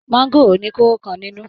Maangoro ni koro kan nínú.